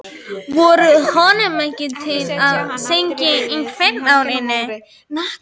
Varð honum tíðrætt um munklífið sem hann kvað engan geta valið sér án